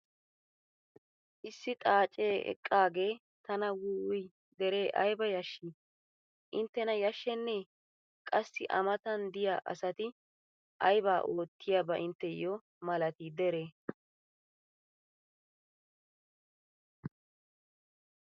Issi xaacee eqqaage tana wuuwuy dere aybba yashshii! Intenna yashenee! qassi A matan diya asati aybaa ootiyaaba intteyoo malatii dere?